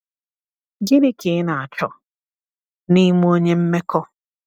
Gịnị ka ị na-achọ n’ime onye mmekọ?